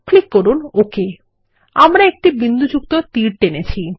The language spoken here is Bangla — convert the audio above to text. ক্লিক করুন ওক আমরা একটি বিন্দুযুক্ত তীর টেনেছি